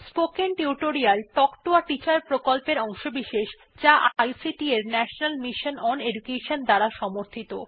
spoken tutorial talk to a teacher প্রকল্পের অংশবিশেষ যা আইসিটি এর ন্যাশনাল মিশন ওন এডুকেশন দ্বারা সমর্থিত